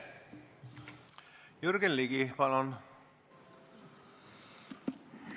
Jürgen Ligi, palun!